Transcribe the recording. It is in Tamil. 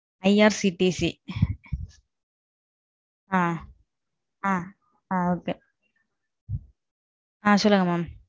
IRCTC, , ஆ சொல்லுங்க mam.